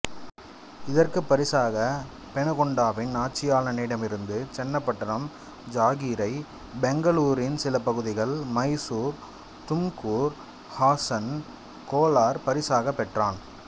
இதற்குப் பரிசாக பெனுகொண்டாவின் ஆட்சியாளனிடமிருந்து சென்னபட்டனம் ஜாகீரை பெங்களூரின் சிலபகுதிகள் மைசூர் தும்கூர் ஹாசன் கோலார் பரிசாக பெற்றான்